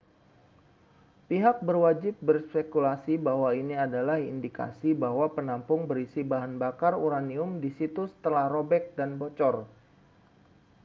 pihak berwajib berspekulasi bahwa ini adalah indikasi bahwa penampung berisi bahan bakar uranium di situs telah robek dan bocor